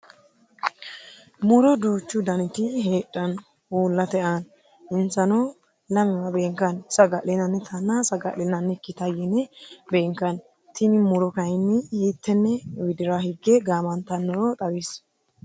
Muro duuchu danniti heedhano uulate aanna insano lamewa beenkanni saga'linannitanna saga'linannikita yene beenkanni tinni muro kayinni hiitene widira hige gaamantanore xawisi?